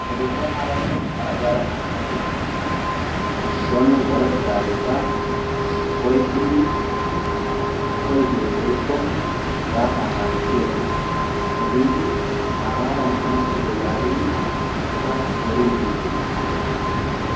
Efesoonaaranne Aragaara naa'ay soni warettidaageta oyqqidi polisee woykko siraataa naaagissiyagee hagaadan hanoppite yaagidi eta zoriidi dees.